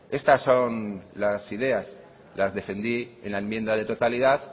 estas son las ideas las defendí en la enmienda de totalidad